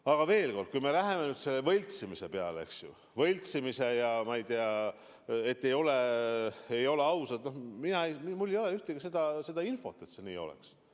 Aga veel kord, kui me läheme nüüd selle võltsimise jutu juurde, et valimised ei ole ausad – mul ei ole infot, et see nii oleks.